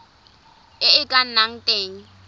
e e ka nnang teng